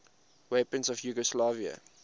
weapons of yugoslavia